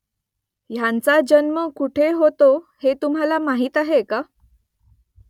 ह्यांचा जन्म कुठे होतो हे तुम्हाला माहीत आहे का ?